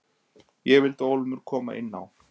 Ég vildi ólmur koma inn á.